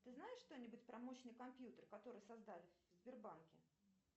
ты знаешь что нибудь про мощный компьютер который создали в сбербанке